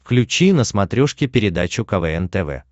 включи на смотрешке передачу квн тв